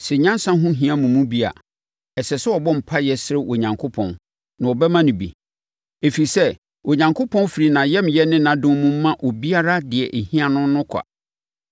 Sɛ nyansa ho hia mo mu bi a, ɛsɛ sɛ ɔbɔ mpaeɛ srɛ Onyankopɔn na ɔbɛma no bi, ɛfiri sɛ, Onyankopɔn firi ayamyɛ ne adom mu ma obiara deɛ ɛhia no no kwa.